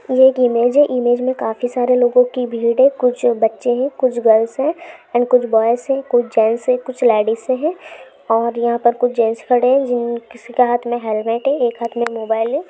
ये एक इमेज है इमेज मैं काफी सारे लोगों की भीड़ है कुछ बच्चे है कुछ गर्ल्स है और कुछ बॉय्ज़ है कुछ जेन्ट्स है कुछ औरतें है और यहाँ पर कुछ जेन्ट्स खड़े हैजिन किसी के हाथ मैं हेलमेट है एक हाथ मैं मोबाईल है।